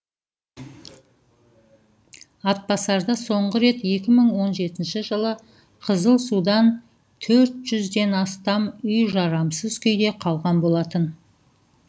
атбасарда соңғы рет екі мың он жетінші жылы қызыл судан төрт жүзден астам үй жарамсыз күйде қалған болатын